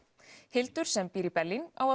Hildur sem býr í Berlín á